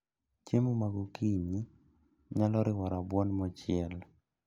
Chiemo ma gokinyi nyalo riwo rabuon mochiel